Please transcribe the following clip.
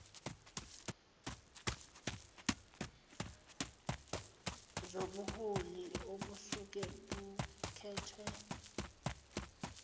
zobuholi obusuke bukhethwe